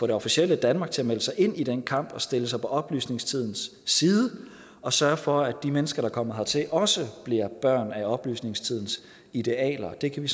det officielle danmark til at melde sig ind i den kamp og stille sig på oplysningstidens side og sørge for at de mennesker der kommer hertil også bliver børn af oplysningstidens idealer det kan vi